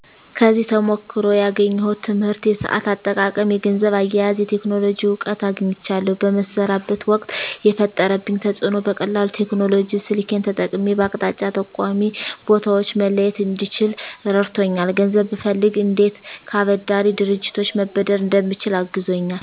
ከዚህ ተሞክሮ ያገኘሁት ትምህርት የሰአት አጠቃቀም የገንዘብ አያያዝ የቴክኖሎጂ እውቀት አግኝቻለሁ በምሰራበት ወቅት የፈጠረብኝ ተፅእኖ በቀላሉ ቴክኖሎጂ ስልኬን ተጠቅሜ በአቅጣጫ ጠቋሚ ቦታወችን መለየት እንድችል ረድቶኛል ገንዘብ ብፈልግ እንዴት ከአበዳሪ ድርጅቶች መበደር እንደምችል አግዞኛል